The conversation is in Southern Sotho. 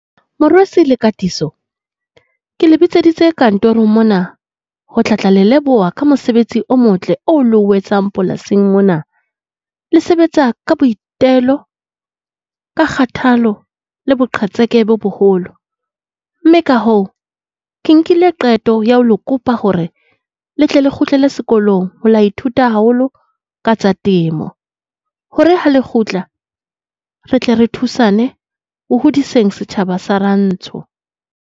Morwesi le Katiso ke le bitseditse kantorong mona ho tlatla le leboha ka mosebetsi o motle oo le o etsang polasing mona. Le sebetsa ka boitelo ka kgatelle le boqhetseke bo boholo. Mme ka hoo, ke nkile qeto ya ho le kopa hore le tle le kgutlele sekolong, ho ilo ithuta haholo ka tsa temo. Hore ha le kgutla re tle re thusane ho hodiseng setjhaba sa rantsho.